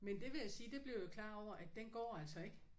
Men det vil jeg sige det blev jeg klar over at den går altså ikke